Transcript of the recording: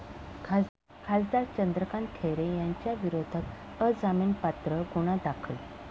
खासदार चंद्रकांत खैरे यांच्याविरोधात अजामीनपात्र गुन्हा दाखल